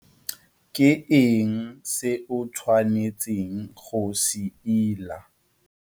Ke eng se o tshwanetseng go se ila?